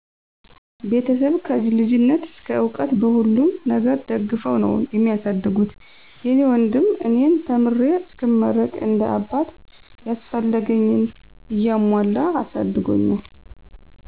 ቤተሰብ ከ ልጅነት እስከ እዉቀት በሁሉም ነገር ደግፈዉ ነዉ ሚያሳድጉት። የኔ ወንድም እኔን ተምሬ እስክመረቅ እንደ አባት ያስፈለገኝን እያሞላ አሳድጎኛል።